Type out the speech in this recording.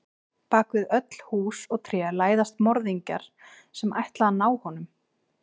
Bak við öll hús og tré læðast morðingjar sem ætla að ná honum.